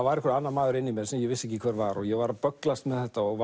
var einhver annar maður inni í mér sem ég vissi ekki hver var og ég var að bögglast með þetta og